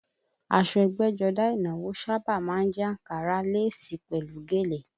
Aṣọ ẹgbẹ́jọdá ìnáwó sábà má ń jẹ́ àǹkárá, léèsì pẹ̀lú gèlè